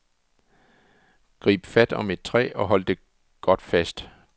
Grib fat om et træ og hold godt fast.